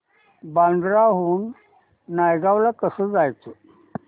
बांद्रा हून नायगाव ला कसं जायचं